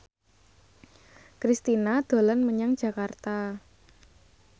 Kristina dolan menyang Jakarta